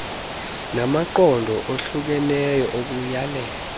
namaqondo ohlukeneyo okuyalela